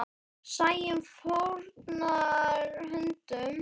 Sæunn fórnar höndum.